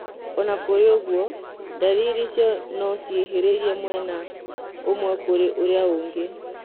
Ona kũrĩ ũguo, ndariri icio no ciĩhĩrĩrie mwena ũmwe kũrĩ ũrĩa ũngĩ